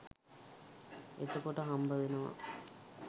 එතකොට හම්බවෙනවා